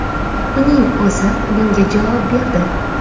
Uning o‘zi bunga javob berdi.